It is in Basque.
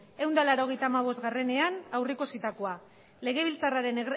ehun eta laurogeita hamabostean aurreikusitakoa legebiltzarraren